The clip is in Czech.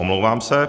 Omlouvám se.